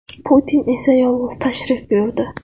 Putin esa yolg‘iz tashrif buyurdi.